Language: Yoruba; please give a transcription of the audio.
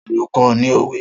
Ta ló kó ọ ní òwe?